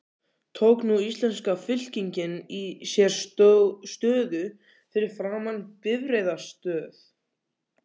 Tók nú íslenska fylkingin sér stöðu fyrir framan bifreiðastöð